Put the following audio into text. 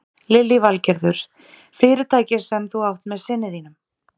Lillý Valgerður: Fyrirtækið sem þú átt með syni þínum?